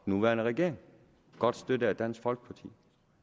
nuværende regering godt støttet af dansk folkeparti den